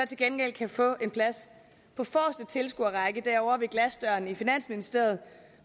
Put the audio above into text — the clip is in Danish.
gengæld kan få en plads på forreste tilskuerrække derovre ved glasdørene i finansministeriet